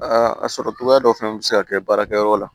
Aa a sɔrɔ cogoya dɔ fana bɛ se ka kɛ baarakɛyɔrɔ la